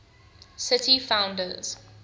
city founders